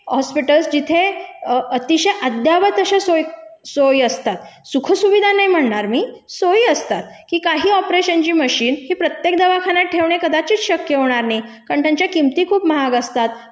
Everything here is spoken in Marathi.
हॉस्पिटल्स जिथे अतिशय अद्यावत अशा सोयी, सोयी असतात. सुखं सुविधा नायी म्हणणार मी, सोयी असतात की ऑपरेशनची मशीन ही प्रत्येक दवाखान्यात ठेवणे कदाचित शक्य होणार नयी कारण त्यांच्या किमती खूप महाग असतात,